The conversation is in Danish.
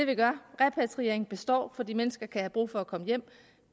vi gør repatrieringen består fordi mennesker kan have brug for at komme hjem